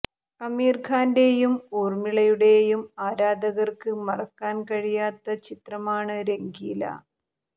അമീര് ഖാന്റെയും ഊര്മ്മിളയുടെയും ആരാധകര്ക്ക് മറക്കാന് കഴിയാത്ത ചിത്രമാണ് രംഗീല